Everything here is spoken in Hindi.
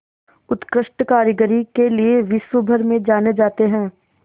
उत्कृष्ट कारीगरी के लिये विश्वभर में जाने जाते हैं